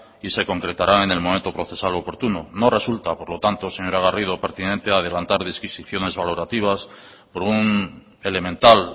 y se concretarán en el momento procesal oportuno no resulta por lo tanto señora garrido pertinente adelantar disquisiciones valorativas por un elemental